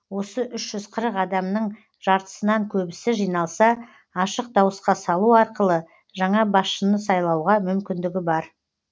осы үш жүз қырық адамның жартысынан көбісі жиналса ашық дауысқа салу арқылы жаңа басшыны сайлауға мүмкіндігі бар